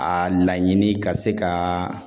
A laɲini ka se ka